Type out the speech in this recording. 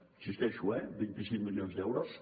hi insisteixo eh vint cinc milions d’euros